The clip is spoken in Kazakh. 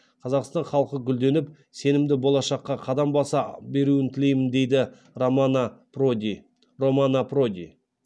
қазақстан халқы гүлденіп сенімді болашаққа қадам баса беруін тілеймін дейді рамано проди романо проди